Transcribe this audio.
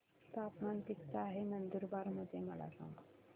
तापमान किता आहे नंदुरबार मध्ये मला सांगा